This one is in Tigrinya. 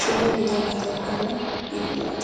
ሽሙ እንታይ እንዳተበሃለ ይፍለጥ?